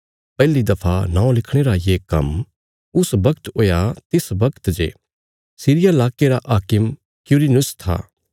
पहली दफा नौं लिखणे रा ये काम्म उस बगत हुया जिस बगत जे सीरिया प्रदेशा रा हाकिम क्विरिनियुस था